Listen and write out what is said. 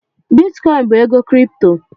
Bitikoin bụ ego Kripto